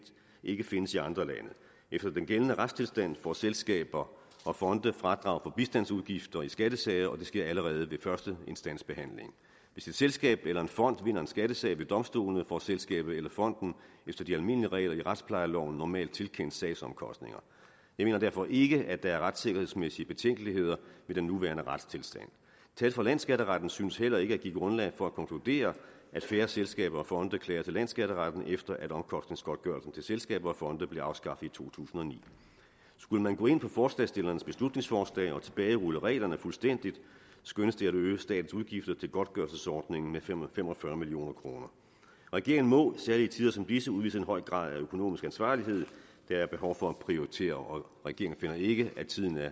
ikke findes i andre lande efter den gældende retstilstand får selskaber og fonde fradrag på bistandsudgifter i skattesager og det sker allerede ved førsteinstansbehandling hvis et selskab eller en fond vinder en skattesag ved domstolene får selskabet eller fonden efter de almindelige regler i retsplejeloven normalt tilkendt sagsomkostninger jeg mener derfor ikke at der er retssikkerhedsmæssige betænkeligheder ved den nuværende retstilstand tal fra landsskatteretten synes heller ikke at give grundlag for at konkludere at færre selskaber og fonde klager til landsskatteretten efter at omkostningsgodtgørelsen til selskaber og fonde blev afskaffet i to tusind og ni skulle man gå ind på forslagsstillernes beslutningsforslag og tilbagerulle reglerne fuldstændig skønnes det at ville øge statens udgifter til godtgørelsesordningen med fem og fem og fyrre million kroner regeringen må særlig i tider som disse udvise en høj grad af økonomisk ansvarlighed der er behov for at prioritere og regeringen finder ikke at tiden er